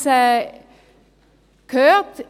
Und wir haben es gehört: